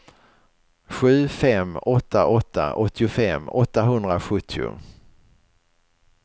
sju fem åtta åtta åttiofem åttahundrasjuttio